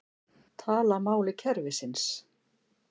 Tala máli kerfisins